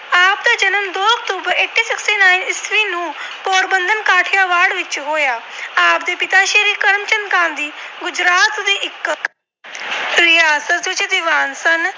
ਵਿੱਚ ਹੋਇਆ। ਆਪ ਦੇ ਪਿਤਾ ਸ੍ਰੀ ਕਰਮਚੰਦ ਗਾਂਧੀ ਗੁਜਰਾਤ ਦੇ ਇੱਕ ਰਿਆਸਤੀ ਦੀਵਾਨ ਸਨ।